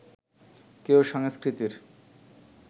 কেউ সংস্কৃতির